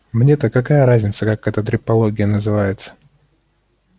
мне-то какая разница как эта трепология называется